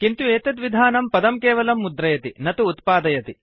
किन्तु एतत् विधानं पदं केवलं मुद्रयति न तु उत्पादयति